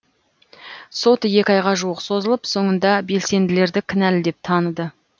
сот екі айға жуық созылып соңында белсенділерді кінәлі деп таныды